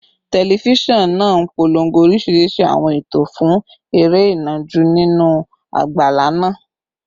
Tẹlifíṣọ̀n náà ń polongo oríṣiríṣi àwọn ètò fún eré ìnàjú nínú àgbàlá náà